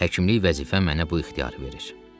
Həkimlik vəzifə mənə bu ixtiyarı verir.